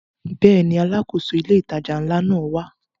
Bẹ́ẹ̀ni, Alákóso ilé ìtajà ńlá náà wá